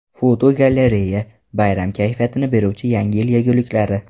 Fotogalereya: Bayram kayfiyatini beruvchi Yangi yil yeguliklari.